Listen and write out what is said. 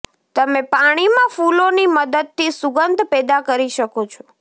તમે પાણીમાં ફૂલોની મદદથી સુગંધ પેદા કરી શકો છો